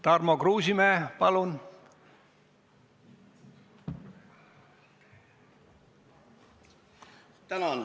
Tarmo Kruusimäe, palun!